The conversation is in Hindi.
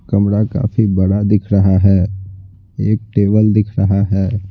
कमरा काफी बड़ा दिख रहा है एक टेबल दिख रहा है।